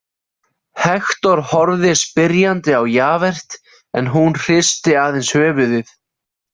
Hektor horfði spyrjandi á Javert en hún hristi aðeins höfuðið.